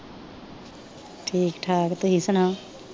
ਠੀਕ ਠਾਕ। ਤੁਸੀ ਸੁਣਾਓ?